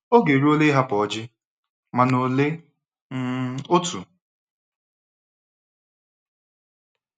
Oge eruola ịhapụ Oji - mana olee um otu?